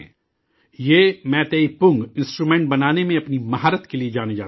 یہ میتیئی پُنگ انسٹرومنٹ بنانے میں اپنی مہارت کے لیے جانے جاتے ہیں